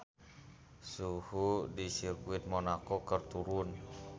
Suhu di Sirkuit Monaco keur turun